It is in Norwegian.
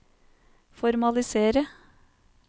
formalisere